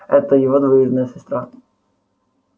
это его двоюродная сестра